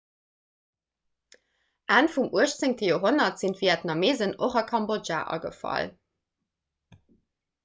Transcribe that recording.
enn vum 18 joerhonnert sinn d'vietnameesen och a kambodja agefall